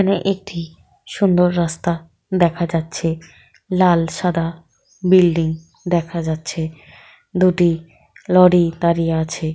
একটি সুন্দর রাস্তা দেখা যাচ্ছে লাল সাদা বিল্ডিং দেখা যাচ্ছে । দুটি লরি দাঁড়িয়ে আছে।